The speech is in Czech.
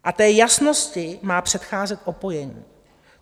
A té jasnosti má předcházet opojení.